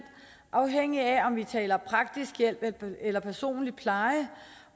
afhængigt af om vi taler praktisk hjælp eller personlig pleje